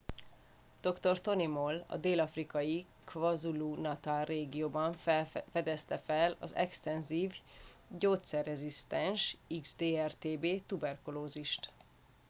dr. tony moll a dél-afrikai kwazulu-natal régióban fedezte fel az extenzív gyógyszerrezisztens xdr-tb tuberkulózist